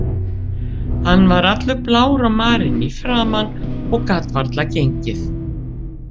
Hann var allur blár og marinn í framan og gat varla gengið.